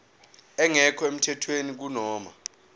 engekho emthethweni kunoma